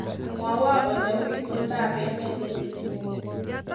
Mwawa ole uu itondap emet eng Kisumu.